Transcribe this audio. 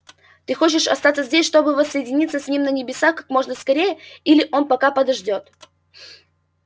ты хочешь остаться здесь чтобы воссоединиться с ним на небесах как можно скорее или он пока подождёт